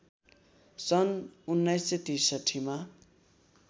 सन् १९६३ मा